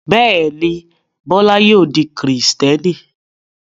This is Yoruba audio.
Bẹ́ẹ̀ ni, Bọ́lá yóò di Kìrìtẹ́ẹ́nì.